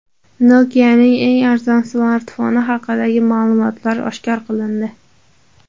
Nokia’ning eng arzon smartfoni haqidagi ma’lumotlar oshkor qilindi.